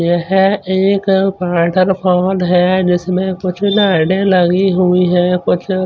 ये है एक जिसमे कुछ में लाईटे लगी हुई है कुछ--